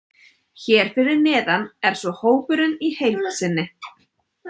Hér fyrir neðan er svo hópurinn í heild sinni.